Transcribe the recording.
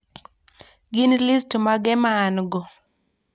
gin list mage maango